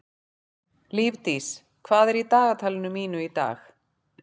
Lífdís, hvað er í dagatalinu mínu í dag?